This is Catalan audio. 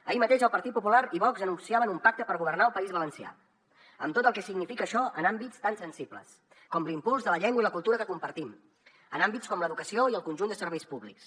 ahir mateix el partit popular i vox anunciaven un pacte per governar el país valencià amb tot el que significa això en àmbits tan sensibles com l’impuls de la llengua i la cultura que compartim en àmbits com l’educació i el conjunt de serveis públics